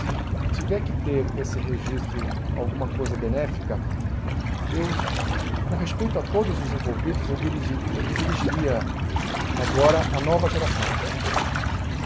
Se tiver que ter esse registro alguma coisa benéfica, eu com respeito a todos os envolvidos, eu dirigi eu me dirigiria agora à nova geração.